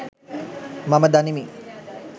මම දනිමි.